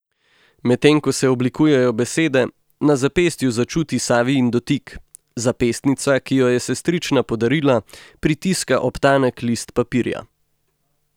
Medtem ko se oblikujejo besede, na zapestju začuti Savijin dotik, zapestnica, ki ji jo je sestrična podarila, pritiska ob tanek list papirja.